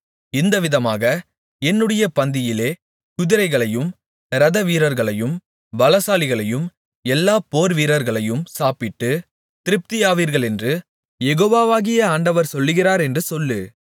இந்தவிதமாக என்னுடைய பந்தியிலே குதிரைகளையும் இரதவீரர்களையும் பலசாலிகளையும் எல்லா போர்வீரர்களையும் சாப்பிட்டு திருப்தியாவீர்களென்று யெகோவாகிய ஆண்டவர் சொல்லுகிறார் என்று சொல்லு